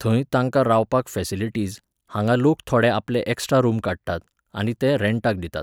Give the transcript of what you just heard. थंय तांकां रावपाक फॅसिलिटिझ, हांगा लोक थोडे आपले एक्स्ट्रा रूम काडटात, आनी ते रॅंटाक दितात.